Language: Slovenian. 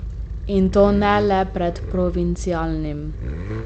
In to ne le pred provincialnim.